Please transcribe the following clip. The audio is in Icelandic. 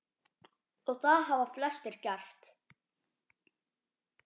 Og það hafa flestir gert.